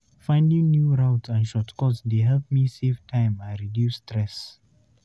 Finding new routes and shortcuts dey help me save time and reduce stress.